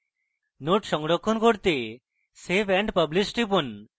node সংরক্ষণ করতে save and publish টিপুন